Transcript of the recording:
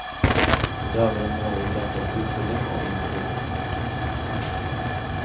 I dag er området ødelagt av utfylling og industri.